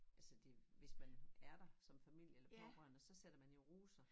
Altså det hvis man er der som familie eller pårørende så sætter man jo roser